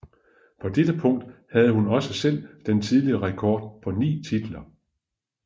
På dette punkt havde hun også selv den tidligere rekord på ni titler